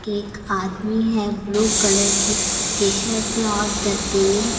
एक आदमी है ब्लू कलर की टी शर्ट में और दतुईन --